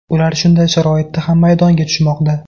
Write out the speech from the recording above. Ular shunday sharoitda ham maydonga tushmoqda.